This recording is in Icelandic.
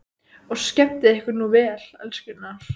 Og skemmtið ykkur nú vel, elskurnar!